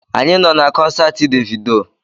Anyị nọ na kọnsaati Devido